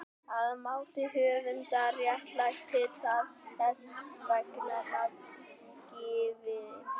Að mati höfundar réttlætir það þess vegna nafngiftina.